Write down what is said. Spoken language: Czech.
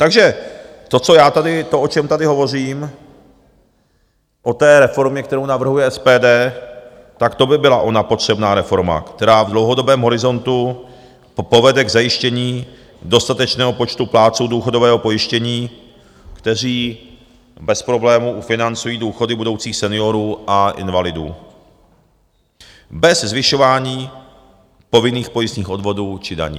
Takže to, co já tady... to, o čem tady hovořím, o té reformě, kterou navrhuje SPD, tak to by byla ona potřebná reforma, která v dlouhodobém horizontu povede k zajištění dostatečného počtu plátců důchodového pojištění, kteří bez problémů ufinancují důchody budoucích seniorů a invalidů, bez zvyšování povinných pojistných odvodů či daní.